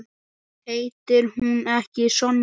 Heitir hún ekki Sonja?